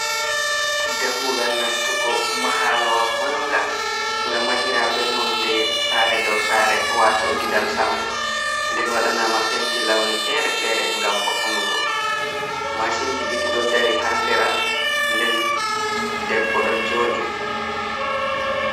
Dammugal nastugo mahalowa manga nga mahira bee nonde saare dow saare waato gidan sama. nden waɗanaama penti lawni feere-feere ngam vo’unugo. Mashin ji ɗiɗi ɗo dari haa sera, nden debbo do jooɗi.